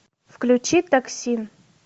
включи токсин